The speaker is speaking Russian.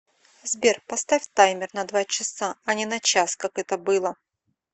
сбер поставь таймер на два часа а не на час как это было